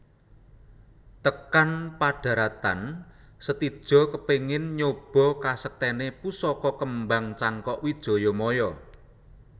Tekan padharatan Setija kepingin nyoba kasektèné pusaka kembang Cangkok Wijayamaya